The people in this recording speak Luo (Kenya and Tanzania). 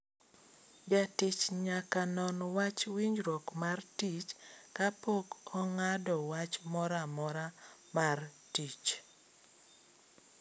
Jatich nyaka non wach wijruok mar tich kapok ong'ado wach mora mora mar jatich